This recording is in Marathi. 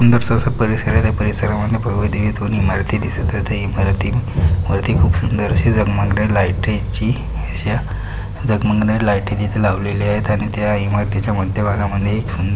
सुंदरस असा परिसर आहे. त्या परिसरामध्ये इमारती दिसत आहे. त्या इमारती वरती खूप सुंदर अशी झगमगण्या लाईटी ची अशा झगमगण्या लाईटी तिथ लावलेल्या आहेत आणि त्या इमारतीच्या मध्यभागामध्ये एक सुंदर--